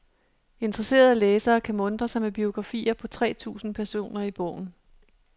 Interesserede læsere kan muntre sig med biografier på tre tusind personer i bogen.